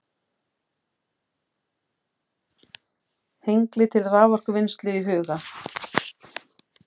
Hengli til raforkuvinnslu í huga.